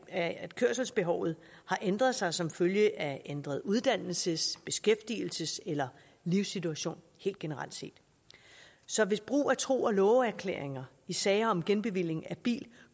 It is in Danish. at at kørselsbehovet har ændret sig som følge af ændret uddannelses beskæftigelses eller livssituation helt generelt set så hvis brug af tro og love erklæringer i sager om genbevilling af bil